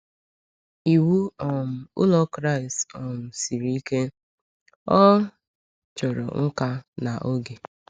Ịwụ um ụlọ Kraịst um siri ike, ọ chọrọ nka na oge.